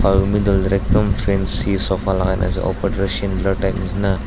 aro middle teh toh ekdom over fancy sofa lagaikina ase opor teh toh chandelier type neshina.